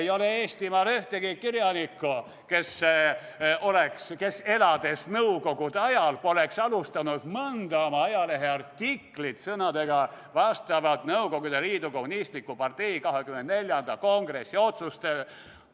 Ei ole Eestimaal ühtegi kirjanikku, kes nõukogude ajal elades poleks alustanud mõnda oma ajaleheartiklit sõnadega "Vastavalt Nõukogude Liidu Kommunistliku Partei 24. kongressi otsustele".